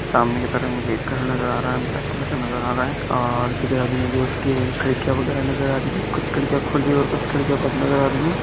सामने की तरफ मुझे एक घर नजर आ रहा है ब्लाक कलर का नजर आ रहा है और इसी के साथ मुझे कुछ खिड्किया वगैरा नजर आ रही है कुछ खिड्किया खुली और कुछ खिड्किया बंद नजर आ रही है।